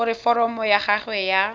gore foromo ya gago ya